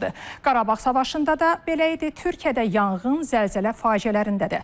Qarabağ müharibəsində də belə idi, Türkiyədə yanğın, zəlzələ faciələrində də.